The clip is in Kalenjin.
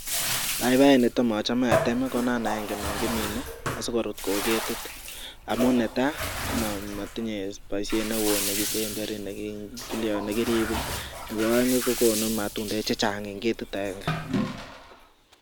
Paipaek netam achame atem ko non aenge nonkimine asikorut kou ketit, amun netaa komatinye baishet neoo nekisemberi nekiribee nebo ae'ng kokonu matundek chechang eng ketit ange .